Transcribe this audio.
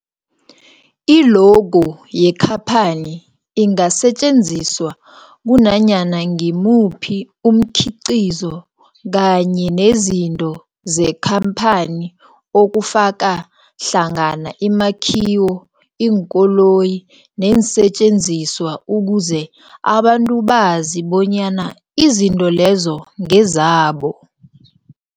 I-logo yekhaphani ingasetjenziswa kunanyana ngimuphi umkhiqizo kanye nezinto zekhamphani okufaka hlangana imakhiwo, iinkoloyi neensentjenziswa ukuze abantu bazi bonyana izinto lezo ngezabo.